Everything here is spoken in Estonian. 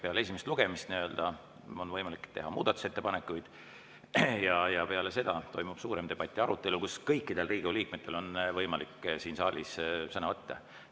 Peale esimest lugemist on võimalik teha muudatusettepanekuid ja peale seda toimub suurem debatt ja arutelu, kus kõikidel Riigikogu liikmetel on võimalik siin saalis sõna võtta.